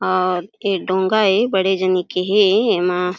और ए डोंगा ए बड़े जनी के हे एमा --